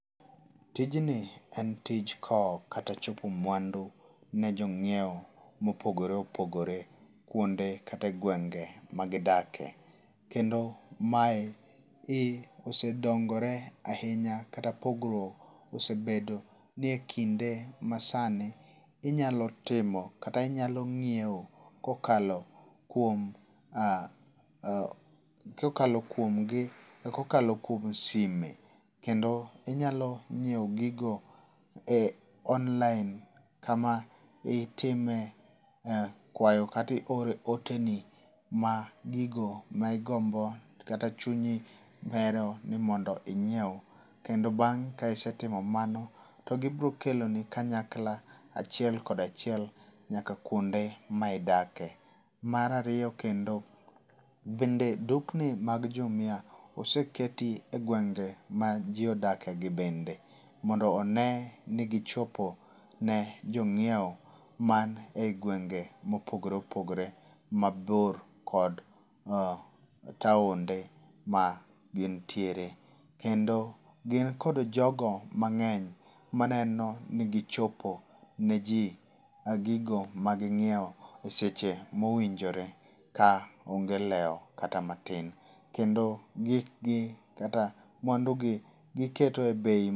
Tijni e tich kowo kata chopo mwandu ne jo ng'iew mopogore opogore kwonde kata e gwenge magidakie. Kendo mae e osedongore ahinya kata pogruok osebede ni ekinde ma sani inyalo timo kata inyalo ng'iewo kokalo kuom kokalo kuom gi kokalo kuom sime. Kendo inyalo ng'iew gigo cs]online kama itime kwayo kata i oro oteni ma gigo ma igombo kata chunyi bero ni mondo inyiew. Kendo bang' ka isetimo mano to gibiro keloni kanyakla achiel kod achiel nyaka kuonde ma idakie. Mar ariyo, kendo bende dukni mag Jumia oseketie e gwenge ma ji odakie gi bende mondo one ni gichopo ne jong'iewo man e gwenge mopogore opogore mabor kod taonde ma gintiere. Kendo gin kod jogo mang'eny maneno ni gichopo ne ji ma gigo ma ging'iewo e seche mowinjore ka onge leo kata matin. Kendo gik gi kata mwando gi giketo e bei..